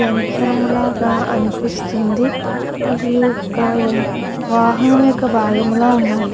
యంత్రము లాగా అనిపిస్తుంది ఇది ఒక వాహనం లో బాగం లాగా వున్నాయి.